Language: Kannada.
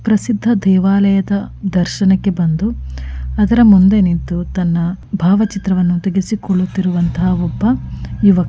ಪ್ರಸಿದ್ಧ ದೇವಾಲಯದ ದರ್ಶನಕ್ಕೆ ಬಂದು ಅದರ ಮುಂದೆ ನಿಂತು ತನ್ನ ಭಾವಚಿತ್ರವನ್ನು ತೆಗೆಸಿಕೊಳ್ಳುತ್ತಿರುವ ಒಬ್ಬ ಯುವ --